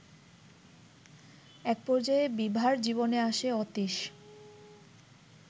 একপর্যায়ে বিভার জীবনে আসে অতীশ